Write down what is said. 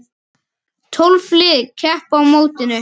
Tólf lið keppa á mótinu.